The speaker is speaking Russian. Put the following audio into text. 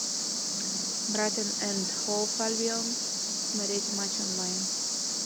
брайтон энд хоув альбион смотреть матч онлайн